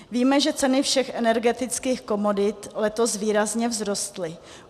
Víme, že ceny všech energetických komodit letos výrazně vzrostly.